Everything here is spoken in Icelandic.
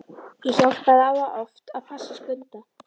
Ég hjálpaði afa oft að passa Skunda.